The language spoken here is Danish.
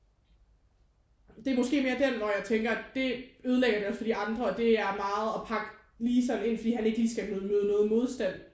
Det er måske mere den hvor jeg tænker det ødelægger det også for de andre og det er meget at pakke lige sådan ind fordi han ikke lige skal møde noget modstand